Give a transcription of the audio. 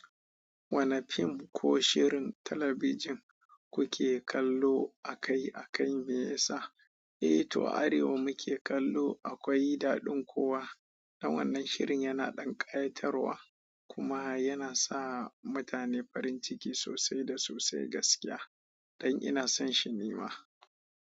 Wane fim ko shirin talabijin kuke kallo akai-akai, me ya sa? Eh to Arewa muke kallo akwai dadin kowa dan wannan shirin yana ɗan ƙayatarwa kuma yana sa mutane farin ciki sosai da sosai gaskiya. Don ina son shi nima.